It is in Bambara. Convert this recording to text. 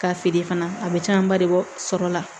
K'a feere fana a bɛ camanba de bɔ sɔrɔ la